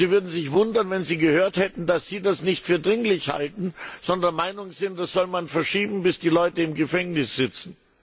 Sie würden sich wundern, wenn sie gehört hätten, dass Sie das nicht für dringlich halten, sondern der Meinung sind, das solle man verschieben, bis die Leute im Gefängnis sitzen.